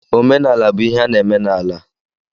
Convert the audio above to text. Omenala bu ihe a na-eme n’ala